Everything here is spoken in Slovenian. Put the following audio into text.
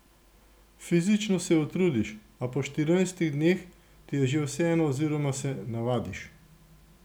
Fizično se utrudiš, a po štirinajstih dneh ti je že vseeno oziroma se navadiš.